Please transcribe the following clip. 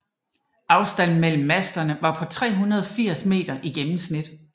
Afstand mellem masterne var på 380 m i gennemsnit